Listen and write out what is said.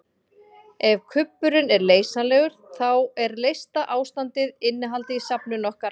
Ef kubburinn er leysanlegur þá er leysta ástandið innihaldið í safninu okkar.